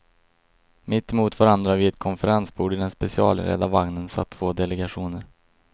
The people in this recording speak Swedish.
Mitt emot varandra vid ett konferensbord i den specialinredda vagnen satt två delegationer.